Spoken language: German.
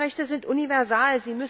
Die Menschenrechte sind universal.